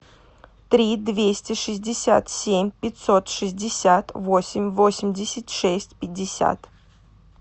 три двести шестьдесят семь пятьсот шестьдесят восемь восемьдесят шесть пятьдесят